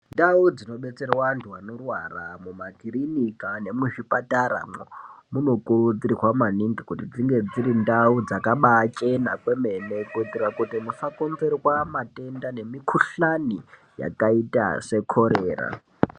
Ndau dzinobetserwe antu anorwara mumakirinika nemuzvipataramwo munokurudzirwa maningi kuti dzinge dziri ndau dzakabachena kwemene kuitira kuti musakonzerwa matenda nemikhuhlani yakaita sekorera.